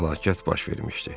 Fəlakət baş vermişdi.